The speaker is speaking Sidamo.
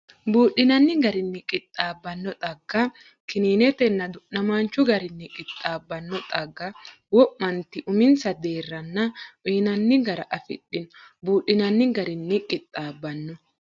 Buudhinanni garinni qixxaab- banno xagga, kininetenna du’namaanchu garinni qixxaabbanno xagga wo’manti uminsa deerranna uyinanni gara afidhino Buudhinanni garinni qixxaab- banno.